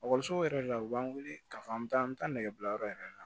Ekɔlisow yɛrɛ la u b'an wele k'a fɔ an bɛ taa an bɛ taa nɛgɛyɔrɔ yɛrɛ la